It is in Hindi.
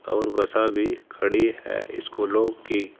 और बसा भी खड़ी है स्कूलों की।